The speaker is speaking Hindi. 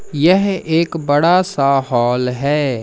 यह एक बड़ा सा हॉल है।